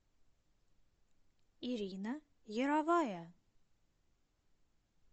ирина яровая